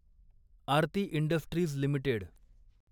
Aarti industries limited